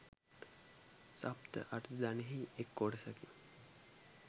සප්ත ආර්ය ධනයෙහි එක් කොටසකි.